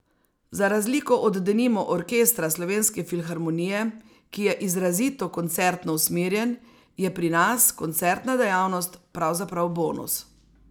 Za razliko od denimo Orkestra Slovenske filharmonije, ki je izrazito koncertno usmerjen, je pri nas koncertna dejavnost pravzaprav bonus.